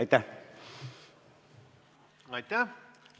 Aitäh!